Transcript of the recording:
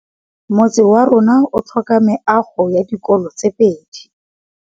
Motse warona o tlhoka meago ya dikolô tse pedi.